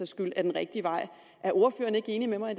skyld er den rigtige vej er ordføreren ikke enig med mig